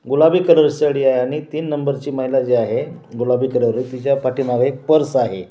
गुलाबी कलर साडी आहे आणि तीन नंबर ची महिला जी आहे गुलाबी कलर तिच्या पाठीमागे एक पर्स आहे.